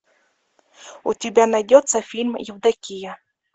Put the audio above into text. у тебя найдется фильм евдокия